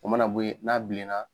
O mana bon yen, n'a bilen na